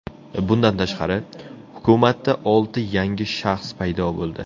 Bundan tashqari, hukumatda olti yangi shaxs paydo bo‘ldi.